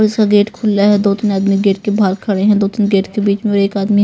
इसका गेट खुला है दो-तीन आदमी गेट के बाहर खड़े हैं दो-तीन गेट के बीच में और एक आदमी--